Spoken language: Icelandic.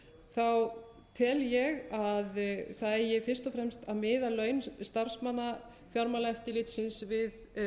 þá tel ég að það eigi fyrst og fremst að miða laun starfsmanna fjármálaeftirlitsins við